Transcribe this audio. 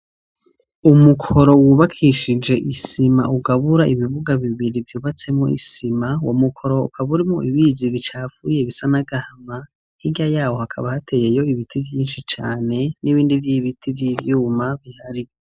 Umukoro wubakishije isima, ugabura ibibuga bibiri byubatsemo isima, wa mukoro ukab urimo ibizi bicafuye bisanagahama, nkiga yaho hakaba hateyeyo ibiti byinshi cane n'ibindi by'ibiti by'ibyuma bihari.